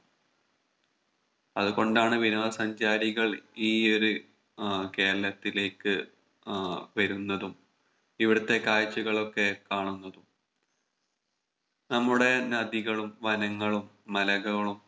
അതുകൊണ്ടാണ് വിനോദ സഞ്ചാരികൾ ഈ ഒരു ഏർ കേരളത്തിലേക്ക് ഏർ വരുന്നതും ഇവിടുത്തെ കാഴ്ചകളൊക്കെ കാണുന്നതും നമ്മുടെ നദികളും വനങ്ങളും മലകളും